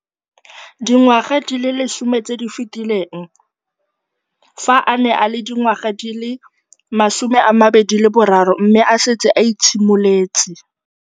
Dingwaga di le 10 tse di fetileng, fa a ne a le dingwaga di le 23 mme a setse a itshimoletse